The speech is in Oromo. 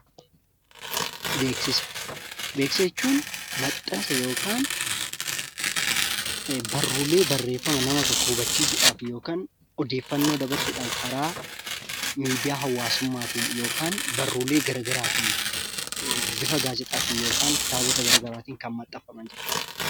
Beeksisa, beeksisa jechuun maxxansa yookaan barruulee barreeffama nama tokko hubachiisuudhaaf yookaan odeeffannoo dabarsuudhaan karaa miidiyaa hawaasummaatiin yookaan barruulee garagaraatiin bifa gaazexaatiin yookan kitaabota gara garaatiin kan maxxafaman jechuudha.